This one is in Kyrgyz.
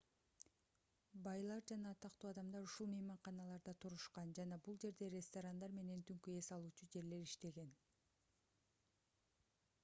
байлар жана атактуу адамдар ушул мейманканаларда турушкан жана бул жерде ресторандар менен түнкү эс алуучу жерлер иштеген